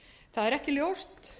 það er ekki ljóst